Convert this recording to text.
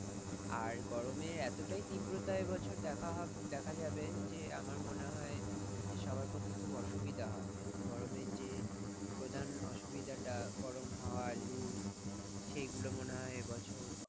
আর গরমে এতটাই তীব্রতা এবছর এতটাই দেখা হবে দেখা যাবে যে আমার মনে হয়, সবার পক্ষে খুব অসুবিধা হবে গরমে যে গরমে যে প্রধান অসুবিধাটা গরম হয় লুফ সেইগূলো মনে হয় এইবছর